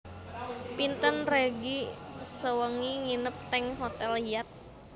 Pinten regi sewengi nginep teng hotel Hyatt?